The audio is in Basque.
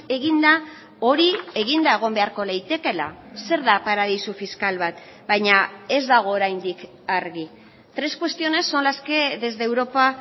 egin da hori eginda egon beharko litekeela zer da paradisu fiskal bat baina ez dago oraindik argi tres cuestiones son las que desde europa